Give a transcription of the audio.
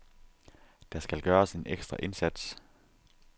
Der skal gøres en ekstra indsats.